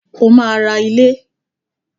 O máa ra ilé.